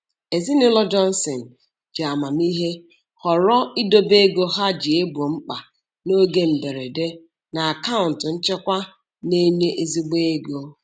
Ezinụlọ Johnson ji amamihe họrọ idobe ego ha ji egbo mkpa n'oge mberede na akaụntụ nchekwa na-enye ezigbo ego.